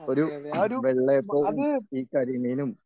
ഒരു വെള്ളയപ്പവും ഈ കരിമീനും